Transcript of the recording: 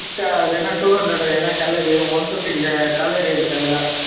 two hundred ஏன்னா calorie one fifty calorie இருக்கு அதுல